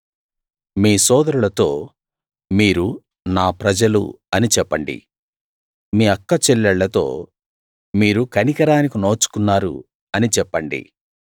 మీ సోదరులతో మీరు నా ప్రజలు అని చెప్పండి మీ అక్కచెల్లెళ్ళతో మీరు కనికరానికి నోచుకున్నారు అని చెప్పండి